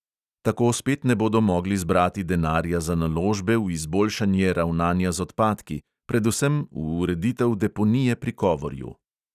Tako spet ne bodo mogli zbrati denarja za naložbe v izboljšanje ravnanja z odpadki, predvsem v ureditev deponije pri kovorju.